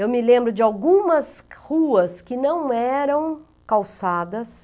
Eu me lembro de algumas ruas que não eram calçadas,